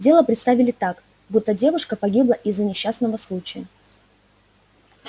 дело представили так будто девушка погибла из-за несчастного случая